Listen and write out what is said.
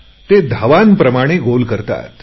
ते धावांप्रमाणे गोल करतात